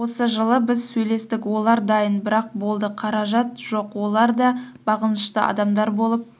осы жылы біз сөйлестік олар дайын бірақ болды қаражат жоқ олар да бағынышты адамдар болып